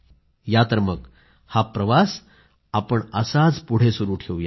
या तर मग हा प्रवास आपण असाच पुढे सुरू ठेवूया